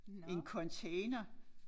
En container